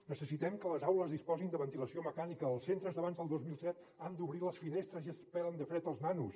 necessitem que les aules disposin de ventilació mecànica els centres d’abans del dos mil set han d’obrir les finestres i es pelen de fred els nanos